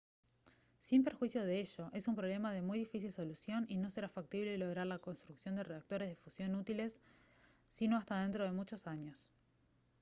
sin perjuicio de ello es un problema de muy difícil solución y no será factible lograr la construcción de reactores de fusión útiles sino hasta dentro de muchos años